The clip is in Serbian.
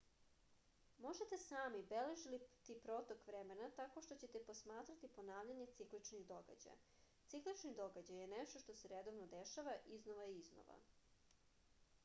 možete sami beležiti protok vremena tako što ćete posmatrati ponavljanje cikličnih događaja ciklični događaj je nešto što se redovno dešava iznova i iznova